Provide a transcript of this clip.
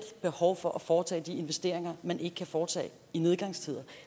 behov for at foretage de investeringer man ikke kan foretage i nedgangstider